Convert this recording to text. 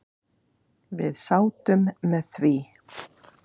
Við sátum með því.